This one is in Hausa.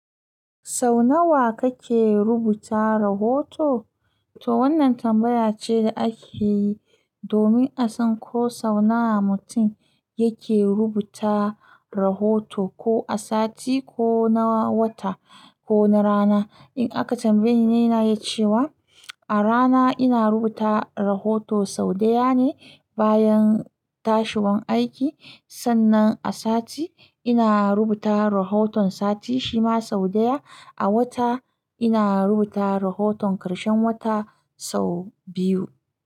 Sau nawa kake rubuta rahoto? To wannan tambaya ce da ake yi domin a san ko sau nawa mutum yake rubuta rahoto, ko a sati, ko na wata, ko na rana. In aka tambayeni, ni ina yi cewa a rana ina rubuta rahoto sau ɗaya ne bayan tashiwan aiki. Sannan a sati ina rubuta rahoton sati shima sau ɗaya. A wata ina rubuta rahoton ƙarshen wata sau biyu.